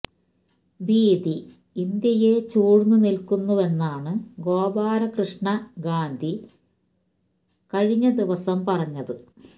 ഭീതി ഇന്ത്യയെ ചൂഴ്ന്നു നില്ക്കുന്നുവെന്നാണ് ഗോപാല്കൃഷ്ണ ഗാന്ധി കഴിഞ്ഞ ദിവസം പറഞ്ഞത്